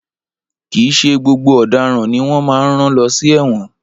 Kìí ṣe gbogbo ọ̀dáran ni wọ́n má ń rán lọ sí ẹ̀wọn.